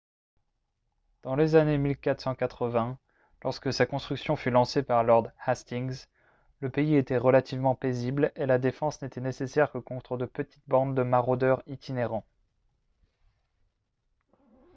dans les années 1480 lorsque sa construction fut lancée par lord hastings le pays était relativement paisible et la défense n'était nécessaire que contre de petites bandes de maraudeurs itinérants